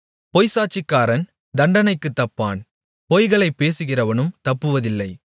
பொய்ச்சாட்சிக்காரன் தண்டனைக்குத் தப்பான் பொய்களைப் பேசுகிறவனும் தப்புவதில்லை